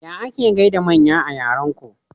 Taya ake gaida manya a yaran ku?